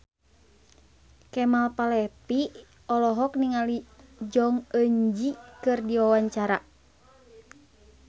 Kemal Palevi olohok ningali Jong Eun Ji keur diwawancara